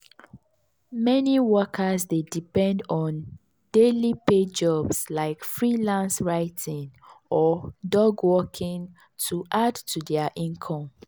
meni workers dey depend on daily pay jobs like freelance writing or dog walking to add to dia income.